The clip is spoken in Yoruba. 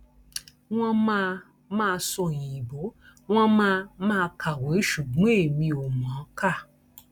wọn máa máa sọ òyìnbó wọn máa máa kàwé ṣùgbọn èmi ò mọ ọn kà